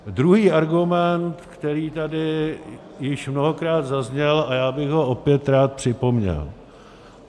Druhý argument, který tady již mnohokrát zazněl, a já bych ho opět rád připomněl.